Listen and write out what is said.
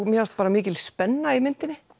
mér fannst mikil spenna í myndinni